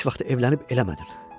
Heç vaxt evlənib eləmədin.